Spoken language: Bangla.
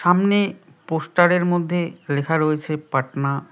সামনে পোস্টারের মধ্যে লেখা রয়েছে পাটনা।